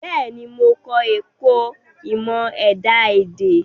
Bẹ́ẹ̀ni, mo kọ́ ẹ̀kọ́ ìmọ̀ ẹ̀dá-èdè.